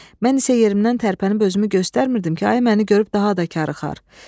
Mən isə yerimdən tərpənib özümü göstərmirdim ki, ayı məni görüb daha da karıxar.